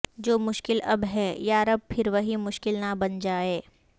جو مشکل اب ہے یا رب پھر وہی مشکل نہ بن جائے